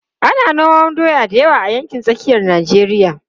Ana noman doya da yawa a yankin tsakiyar Najeriya.